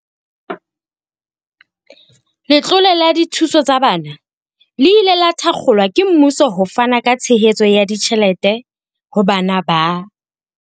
Letlole la dithuso tsa bana le ile la thakgolwa ke mmuso ho fana ka tshehetso ya ditjhelete ho bana ba.